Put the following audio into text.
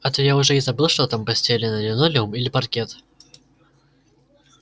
а то я уже и забыл что там постелено линолеум или паркет